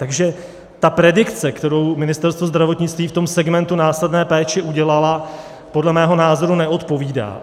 Takže ta predikce, kterou Ministerstvo zdravotnictví v tom segmentu následné péče udělalo, podle mého názoru neodpovídá.